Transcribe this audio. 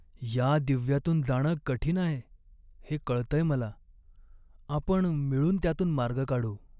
या दिव्यातून जाणं कठीण आहे, हे कळतंय मला! आपण मिळून त्यातून मार्ग काढू.